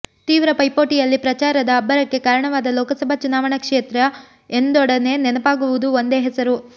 ತೀವ್ರ ಪೈಪೋಟಿಯಲ್ಲಿ ಪ್ರಚಾರದ ಅಬ್ಬರಕ್ಕೆ ಕಾರಣವಾದ ಲೋಕಸಭಾ ಚುನಾವಣಾ ಕ್ಷೇತ್ರ ಎಂದೊಡನೆ ನೆನಪಾಗುವುದು ಒಂದೇ ಹೆಸರು